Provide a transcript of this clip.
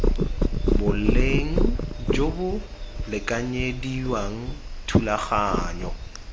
boleng jo bo lekanyediwang thulaganyo